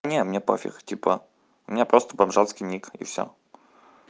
не мне пофиг типа у меня просто бомжатский ник и всё